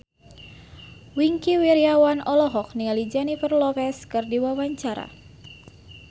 Wingky Wiryawan olohok ningali Jennifer Lopez keur diwawancara